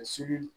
Sibiri